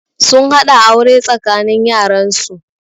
Sun haɗa aure tsakanin yaran su